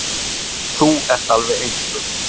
Þú ert alveg sérstök.